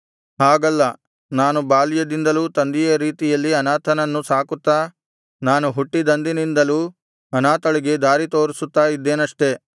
ಹಾಗಲ್ಲ ನಾನು ಬಾಲ್ಯದಿಂದಲೂ ತಂದೆಯ ರೀತಿಯಲ್ಲಿ ಅನಾಥನನ್ನು ಸಾಕುತ್ತಾ ನಾನು ಹುಟ್ಟಿದಂದಿನಿಂದಲು ಅನಾಥಳಿಗೆ ದಾರಿತೋರಿಸುತ್ತಾ ಇದ್ದೇನಷ್ಟೆ